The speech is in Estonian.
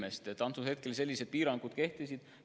Sellel hetkel sellised piirangud kehtisid.